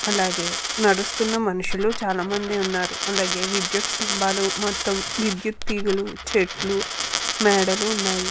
అలాగే నడుస్తున్న మనుషులు చాలామంది ఉన్నారు. అలాగే విద్యుత్ స్తంభాలు మొత్తము విద్యుత్ తీగలు చెట్లు మెడలు ఉన్నాయి.